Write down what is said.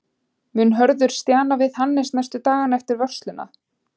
Mun Hörður stjana við Hannes næstu dagana eftir vörsluna?